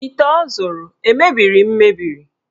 Ite ọ zụrụ emebiri mebiri?